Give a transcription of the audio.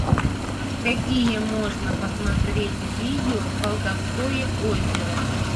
какие можно посмотреть видео колдовское озеро